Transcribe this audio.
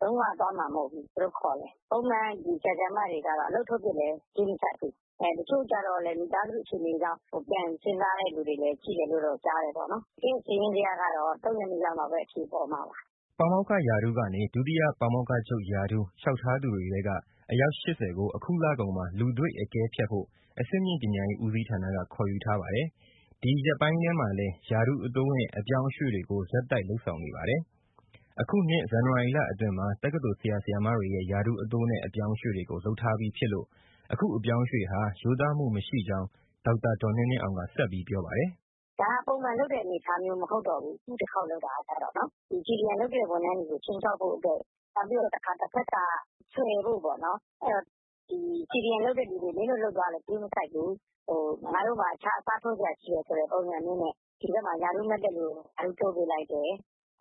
လုံးဝသွားမှာ မဟုတ်ဘူးဗျ သူတို့ခေါ်လည်း။ ပုံမှန် ဒီ ဆရာ၊ ဆရာမတွေကတော့ အလုပ်ထုတ်ပစ်လည်း ဂရုမစိုက်ဘူး။ တချို့ကျတော့လည်း မိသားစုအခြေအနေကြောင့် ပြန်စဉ်းစားတဲ့ လူတွေလည်း ရှိတယ်လို့ကြားတယ်။ တကယ့် စာရင်းဇယားကတော့ ၃ ရက်နေ့မှပဲ အဖြေပေါ်မှာပါ။” ပါမောက္ခရာထူးကနေ ဒုတိယ ပါမောက္ခချုပ်ရာထူး လျှောက်ထားသူတွေထဲက အယောက် ၈၀ ကို အခုလကုန်မှာ လူတွေ့အကဲဖြတ်ဖို့ အဆင့်မြင့်ပညာ ဦးစီးဌာနက ခေါ်ယူထားပါတယ်။ ဒီရက်ပိုင်းထဲမှာလည်း ရာထူးတိုးနဲ့ အပြောင်းအရွှေ့တွေကို ဆက်တိုက်လုပ်ဆောင်နေပါတယ်။ အခုနှစ် ဇန်နဝါရီလ အတွင်းမှာ တက္ကသိုလ်ဆရာတွေရဲ့ ရာထူးတိုးနဲ့ အပြောင်းအရွှေ့ကို လုပ်ထားပြီးဖြစ်လို့ အခုအပြောင်းအရွှေ့ဟာ ရိုးသားမှုမရှိကြောင်း ဒေါက်တာဒေါ်နှင်းနှင်းအောင်က ဆက်ပြောပါတယ်။ “ ဒါကပုံမှန်လုပ်တဲ့ အနေအထားမျိုး မဟုတ်တော့ဘူး အခုခေါက်လုပ်တာက။ CDM လုပ်တဲ့ ဝန်ထမ်းတွေကို ခြိမ်းခြောက်ဖို့အတွက် နောက်ပြီး တဖက်က ဆွယ်ဖို့ပေါ့နော်။ CDM လုပ်တဲ့သူတွေ မင်းတို့လုပ်သွားလည်း ဂရုမစိုက်ဘူး၊ ငါတို့မှာ အခြားအစားထိုးစရာ ရှိတယ်ဆိုတဲ့ ပုံစံမျိုးနဲ့ ဒီဘက်မှာ ရာထူးမတက်လို့ ရာထူးတိုးပေးလိုက်တယ်